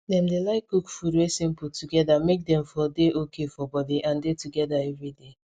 dem dey like cook food wey simple together make dem for dey okay for body and dey together every day